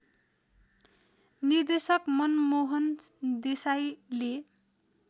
निर्देशक मनमोहन देसाईले